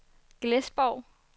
Glesborg